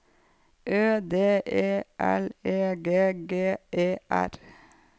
Ø D E L E G G E R